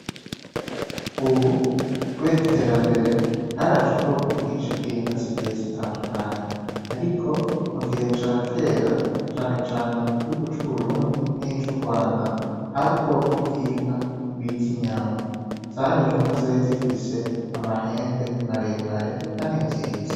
Ubu, kubera iterambere haraje ubwoko bwinshi bw'inka zigiye zitandukanye, ariko mu gihe ca kera canecane mu gihugu c'uburundi n'ico urwanda hari ubwoko bw'inka bita inyamba zari inka zari zifise amahembe maremare, kandi nziza.